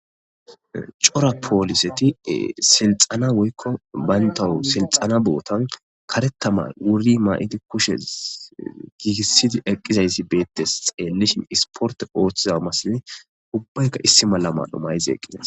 Cora pooliseti silxana woykko bayntawu silxana bootan karetamay wurri maa7iti kushe giigissidi eqqizayssi beettes xeellishin isporte ooththiza masini ubbayka issi mala mad7humayize eqqizas.